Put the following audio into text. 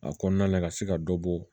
A kɔnɔna la ka se ka dɔ bɔ